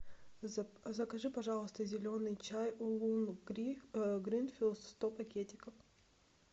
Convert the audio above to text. закажи пожалуйста зеленый чай улун гринфилд сто пакетиков